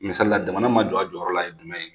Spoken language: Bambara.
Misalila jamana ma jɔ a jɔyɔrɔ la ye jumɛn ye